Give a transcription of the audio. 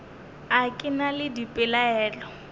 a ke na le dipelaelo